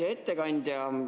Hea ettekandja!